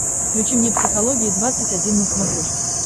включи мне психология двадцать один на смотрешке